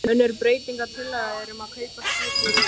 Önnur breytingatillaga er um að kaupa skip úr eik.